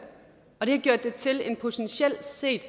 og det har gjort det til en potentiel set